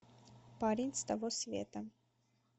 парень с того света